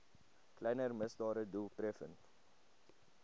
kleiner misdade doeltreffend